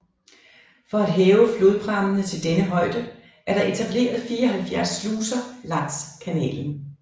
For at hæve flodprammene til denne højde er der etableret 74 sluser langs kanalen